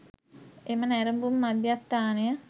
එම නැරඹුම් මධ්‍යස්ථානය